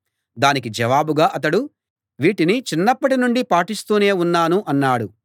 దానికి జవాబుగా అతడు వీటిని చిన్నప్పటి నుండి పాటిస్తూనే ఉన్నాను అన్నాడు